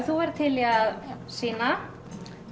þú værir til í að sýna